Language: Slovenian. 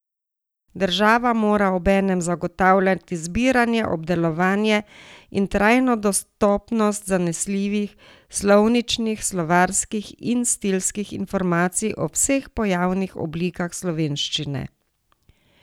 Država mora obenem zagotavljati zbiranje, obdelovanje in trajno dostopnost zanesljivih slovničnih, slovarskih in stilskih informacij o vseh pojavnih oblikah slovenščine.